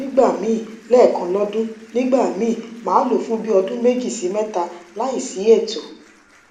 nigbami lekan lodun nigba mi ma lo fun bi odun meji si meta layi si eto